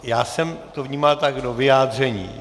Já jsem to vnímal tak - do vyjádření.